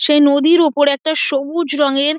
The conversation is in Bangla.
সে নদীর ওপরে একটা সবুজ রং এর --